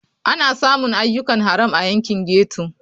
Ana samun ayyukan haram a yankin ghetto.